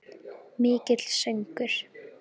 Mikill söngur.